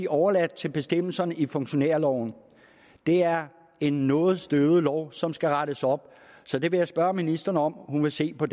overladt til bestemmelserne i funktionærloven det er en noget støvet lov som skal rettes op så det vil jeg spørge ministeren om hun vil se på